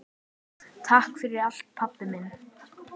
Takk fyrir allt, pabbi minn.